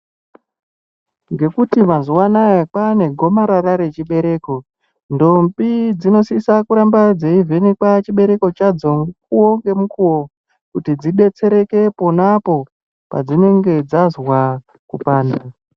Ngekuti mazuwa anaya kwaane gomarara rechibereko ndombi dzinosisa kuramba dzeivhenekwa chibereko chadzo mukuwo ngemukuwo kuti dzidetsereke ponapo padzinenge dzazwa kupanda.